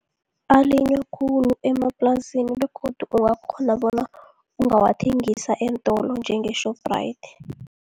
Alinywa khulu emaplasini begodu ungakghona bona ungawathengisa eentolo njenge-Shoprite.